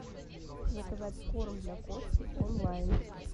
заказать корм для кошки онлайн